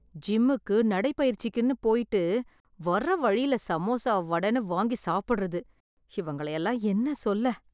ஜிம்முக்கு, நடைப்பயிற்சிக்குன்னு போய்ட்டு, வர்ற வழியில சமுசா, வடைன்னு வாங்கி சாப்பிட்றது... இவங்களயெல்லாம் என்ன சொல்ல...